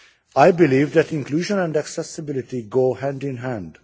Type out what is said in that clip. I believe that inclusion and accessibility go hand in hand.